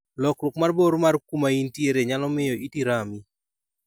Lokruok mar bor mar kuma intiere nyalo miyo iti rami.